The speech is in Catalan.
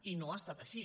i no ha estat així